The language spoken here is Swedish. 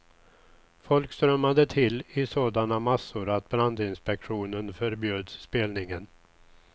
Folk strömmade till i sådana massor att brandinspektionen förbjöd spelningen.